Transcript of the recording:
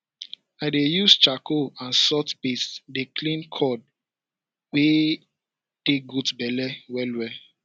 i dey use charcoal and salt paste dey clean cord wey dey goat belle wellwell